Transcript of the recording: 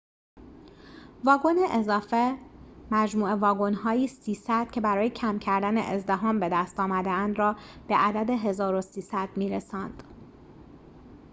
۳۰۰ واگن اضافه مجموع واگن‌هایی که برای کم کردن ازدحام بدست آمده‌اند را به عدد ۱۳۰۰ می‌رساند